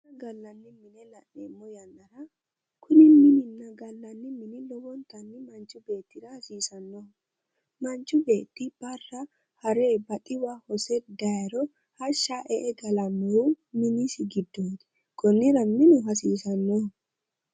Gallanni mine la'neemmo yannara kuni minunna gallanni mini manchi beettira lowontanni hasiisanno. Manchu beetti barra hare baxiwa hose dayiro hashsha e"e galannohu minisi giddooti. Konnira minu hasiisanno.